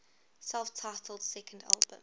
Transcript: self titled second album